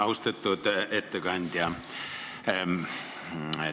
Austatud ettekandja!